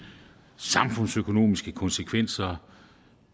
samfundsøkonomiske konsekvenser